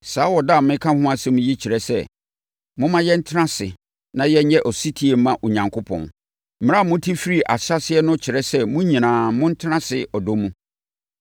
Saa ɔdɔ a mereka ho asɛm yi kyerɛ sɛ, momma yɛntena ase na yɛnyɛ ɔsetie mma Onyankopɔn. Mmara a mote firii ahyɛaseɛ no kyerɛ sɛ mo nyinaa, montena ase ɔdɔ mu.